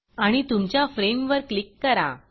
आणि तुमच्या फ्रेम वर क्लिक करा